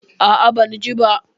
A'a, ban ji ba.